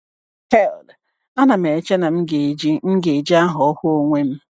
Hell, anam eche na m ga-eji m ga-eji aha ahụ onwe m.